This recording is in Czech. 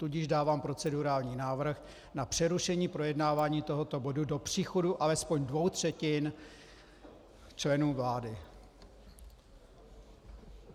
Tudíž dávám procedurální návrh na přerušení projednávání tohoto bodu do příchodu alespoň dvou třetin členů vlády.